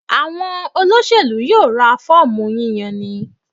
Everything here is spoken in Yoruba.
Àwọn olóṣèlú yóò ra fọ́ọ̀mù yíyani.